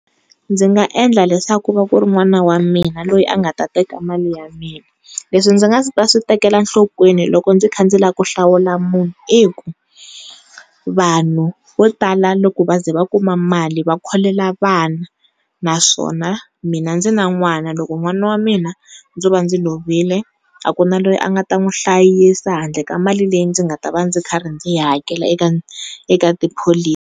Ndzi nga endla leswaku ku va ku ri n'wana wa mina loyi a nga ta teka mali ya mina, leswi ndzi nga ta swi tekela nhlokweni loko ndzi kha ndzi lava ku hlawula munhu i ku, vanhu vo tala loko va za va kuma mali va kholela vana naswona mina ndzi na n'wana loko n'wana wa mina ndzo va ndzi lovile a ku na loyi a nga ta n'wi hlayisa handle ka mali leyi ndzi nga ta va ndzi karhi ndzi yi hakela eka tipholisi.